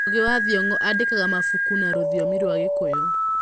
Ngũgĩ wa Thiong’o aandĩkaga mabuku na rũthiomi rwa gĩkũyũ.